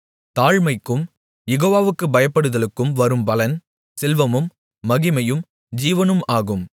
தாழ்மைக்கும் யெகோவாவுக்குப் பயப்படுதலுக்கும் வரும் பலன் செல்வமும் மகிமையும் ஜீவனும் ஆகும்